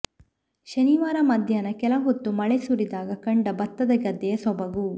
ಶನಿವಾರ ಮಧ್ಯಾಹ್ನ ಕೆಲ ಹೊತ್ತು ಮಳೆ ಸುರಿದಾಗ ಕಂಡ ಭತ್ತದ ಗದ್ದೆಯ ಸೊಬಗು